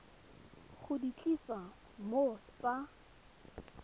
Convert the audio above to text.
go di tlisa mo sa